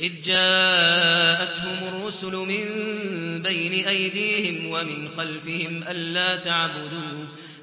إِذْ جَاءَتْهُمُ الرُّسُلُ مِن بَيْنِ أَيْدِيهِمْ وَمِنْ خَلْفِهِمْ